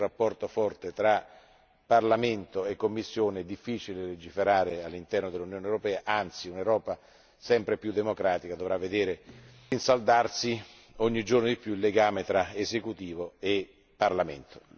Senza uno stretto rapporto fra Parlamento e Commissione è difficile legiferare all'interno dell'Unione europea, anzi un'Europa sempre più democratica dovrà vedere rinsaldarsi ogni giorno di più il legame tra esecutivo e Parlamento.